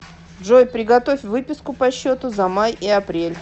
джой приготовь выписку по счету за май и апрель